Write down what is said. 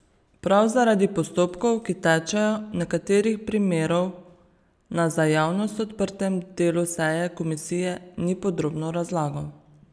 Prav zaradi postopkov, ki tečejo, nekaterih primerov na za javnost odprtem delu seje komisije ni podrobno razlagal.